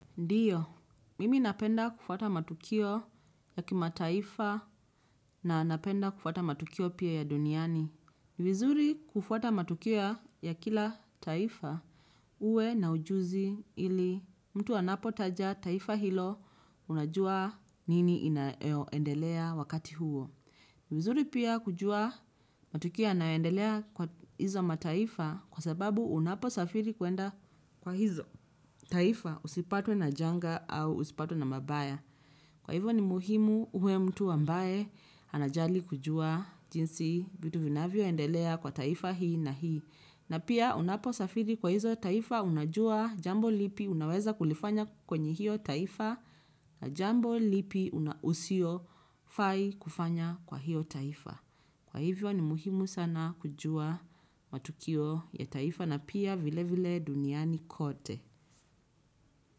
Ndiyo, mimi napenda kufuata matukio ya kimataifa na napenda kufuata matukio pia ya duniani. Ni vizuri kufuata matukio ya kila taifa uwe na ujuzi ili mtu anapotaja taifa hilo unajua nini inaendelea wakati huo. Ni vizuri pia kujua matukio yanayoendelea kwa hizo mataifa kwa sababu unaposafiri kuenda kwa hizo taifa usipatwe na janga au uzipatwe na mabaya. Kwa hivyo ni muhimu uwe mtu ambae anajali kujua jinsi vitu vinavyoendelea kwa taifa hii na hii. Na pia unaposafiri kwa hizo taifa unajua jambo lipi unaweza kulifanya kwenye hio taifa na jambo lipi unsiofai kufanya kwa hio taifa. Kwa hivyo ni muhimu sana kujua matukio ya taifa na pia vile vile duniani kote.